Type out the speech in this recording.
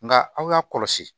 Nka aw y'a kɔlɔsi